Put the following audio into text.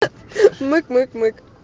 мык мык мык